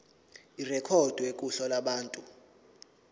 irekhodwe kuhla lwabantu